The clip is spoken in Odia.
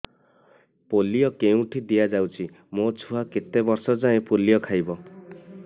ପୋଲିଓ କେଉଁଠି ଦିଆଯାଉଛି ମୋ ଛୁଆ କେତେ ବର୍ଷ ଯାଏଁ ପୋଲିଓ ଖାଇବ